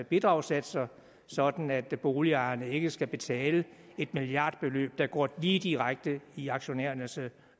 bidragssatser sådan at boligejerne ikke skal betale et milliardbeløb der går lige direkte i aktionærernes